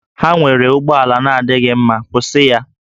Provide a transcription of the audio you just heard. Ha nwere ụgbọ ala na-adịghị mma, kwụsị ya!